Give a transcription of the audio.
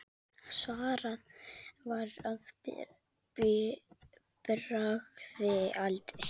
Svarað var að bragði: aldrei.